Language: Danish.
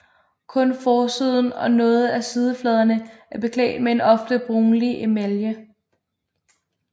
Kun forsiden og noget af sidefladerne er beklædt med en ofte brunlig emalje